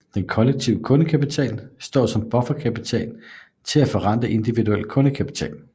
Den Kollektive KundeKapital står som bufferkapital til at forrente Individuel KundeKapital